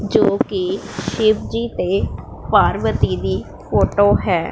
ਜੋ ਕੀ ਸ਼ਿਵ ਜੀ ਤੇ ਪਾਰਵਤੀ ਦੀ ਫੋਟੋ ਹੈ।